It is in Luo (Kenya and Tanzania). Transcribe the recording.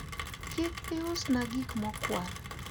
kik iusna gik mokwal